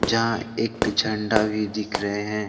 यहाँ एक झंडा भी दिख रहे हैं।